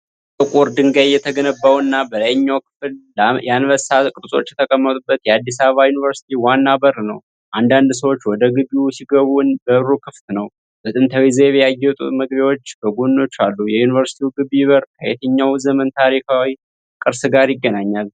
ከጥቁር ድንጋይ የተገነባውና በላይኛው ክፍል የአንበሳ ቅርጾች የተቀመጡበት የአዲስ አበባ ዩኒቨርሲቲ ዋና በር ነው። አንዳንድ ሰዎች ወደ ግቢው ሲገቡ በሩ ክፍት ነው። በጥንታዊ ዘይቤ ያጌጡ መግቢያዎች በጎኖቹ አሉ። የዩኒቨርሲቲው ግቢ በር ከየትኛው ዘመን ታሪካዊ ቅርስ ጋር ይገናኛል?